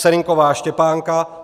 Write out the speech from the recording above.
Serynková Štěpánka